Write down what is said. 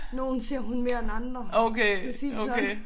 Nogle ser hun mere end andre. Lad os sige det sådan